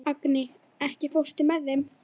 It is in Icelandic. Agni, ekki fórstu með þeim?